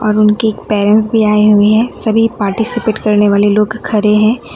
और उनके पैरेंट्स भी आए हुए हैं सभी पार्टिसिपेट करने वाले लोग खड़े हैं।